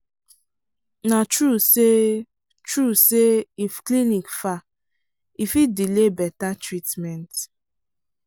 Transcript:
na true say true say if clinic far e fit delay better treatment.